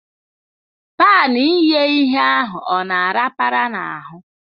Pan ighe ihe ahụ ọ na arapara n'ahụ?